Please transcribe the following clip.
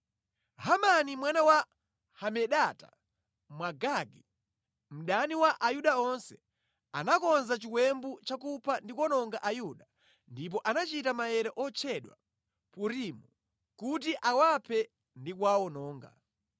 Hamani mwana wa Hamedata, Mwagagi, mdani wa Ayuda onse, anakonza chiwembu chakupha ndi kuwononga Ayuda ndipo anachita maere otchedwa Purimu kuti awaphe ndi kuwawononga.